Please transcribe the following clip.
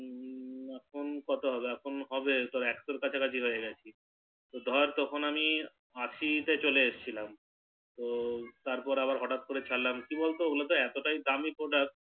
এখন কত হবে এখন হবে তোর একশোর কাছাকাছি হয়ে গেছে ধর তখন আমি আশি তে চলে এসেছিলাম তো তারপর আবার হটাৎ করে খেলাম কি বল তো ওটা তো এতটাই দামি Product